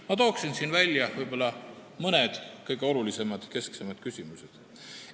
Ma toon välja mõned kõige olulisemad, kesksemad küsimused.